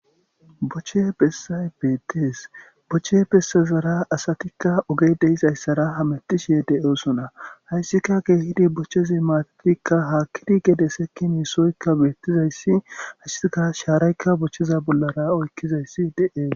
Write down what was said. Boche bessan beetes. Niche bessazara asatika ogey de'izaysa hamutishe de'osona haysika bochezi maatatika, haathatika, gede sekini sohoyka betizaysi qaseka sharayka bocheza bollara oykizaysi de'es.